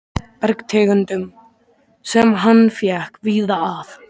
bergtegundum, sem hann fékk víða að.